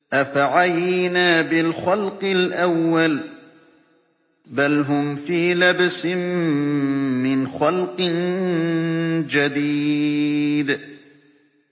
أَفَعَيِينَا بِالْخَلْقِ الْأَوَّلِ ۚ بَلْ هُمْ فِي لَبْسٍ مِّنْ خَلْقٍ جَدِيدٍ